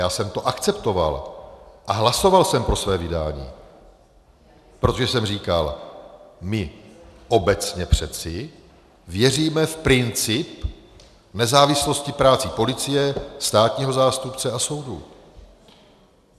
Já jsem to akceptoval a hlasoval jsem pro své vydání, protože jsem říkal: My obecně přece věříme v princip nezávislosti práce policie, státního zástupce a soudů.